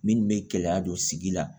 Minnu bɛ gɛlɛya don sigi la